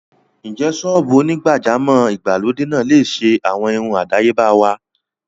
Ǹjẹ́ ṣọ́ọ́bù onígbàjámọ̀ ìgbàlódé náà lè ṣe àwọn irun àdáyébá wá?